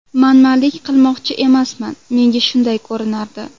Manmanlik qilmoqchi emasman, menga shunday ko‘rinardi.